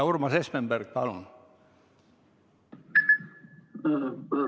Urmas Espenberg, palun!